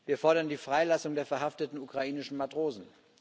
Wir fordern die Freilassung der verhafteten ukrainischen Matrosen.